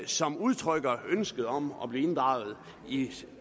som udtrykte ønske om at blive inddraget i